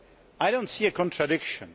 I do not see a contradiction.